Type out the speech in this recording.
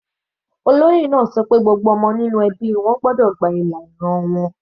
Olóyè náà ṣọ pé gbogbo ọmọ ní ẹbí wọn gbọ́dọ̀ gba ìlà ìran wọn.